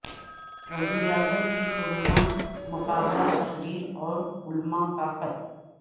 وزیراعظم کی کرونا مقابلہ تقریر اور علماء کا خط